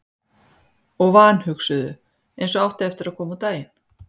Og vanhugsuðu, eins og átti eftir að koma á daginn.